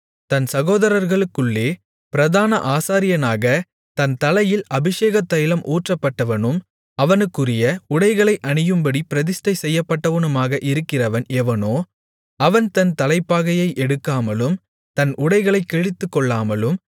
தன் சகோதரர்களுக்குள்ளே பிரதான ஆசாரியனாக தன் தலையில் அபிஷேகத்தைலம் ஊற்றப்பட்டவனும் அவனுக்குரிய உடைகளை அணியும்படி பிரதிஷ்டை செய்யப்பட்டவனுமாக இருக்கிறவன் எவனோ அவன் தன் தலைப்பாகையை எடுக்காமலும் தன் உடைகளைக் கிழித்துக்கொள்ளாமலும்